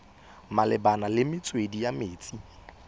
malebana le metswedi ya metsi